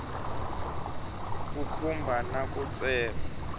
ku khumba na ku tsema